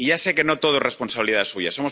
Y ya sé que no todo es responsabilidad suya